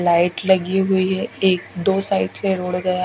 light लगी हुई है एक दो साइड से रोड गया--